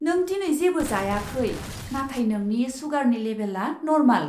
नों दिनै जेबो जायाखै, नाथाय नोंनि सुगारनि लेबेलआ नर्माल!